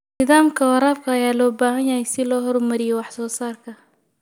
Nidaamyada waraabka ayaa loo baahan yahay si loo horumariyo wax soo saarka.